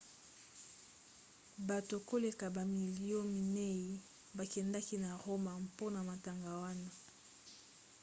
bato koleka bamilio minei bakendaki na roma mpona matanga wana